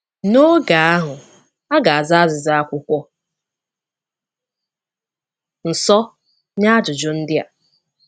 N'oge ahụ, a ga-aza azịza Akwụkwọ Nsọ nye ajụjụ ndị a.